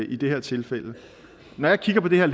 i det her tilfælde når jeg kigger på det her